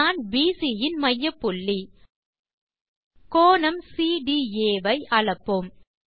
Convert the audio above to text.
நாண் PC யின் மையப்புள்ளி கோணம் சிடிஏ ஐ அளப்போம்